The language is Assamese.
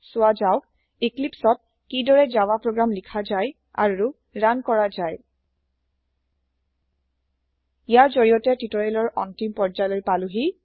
চোৱা যাওক ইক্লিপ্চ ত কি দৰে জাভা প্ৰোগ্ৰাম লিখা যায় আৰু ৰান কৰা যায় ইয়াৰ জৰিয়তে টিউটৰিয়েলৰ আন্তিম প্ৰয্যায় পালোহি